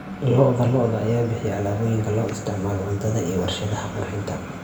Lo'da lo'da ayaa bixiya alaabooyinka loo isticmaalo cuntada iyo warshadaha qurxinta.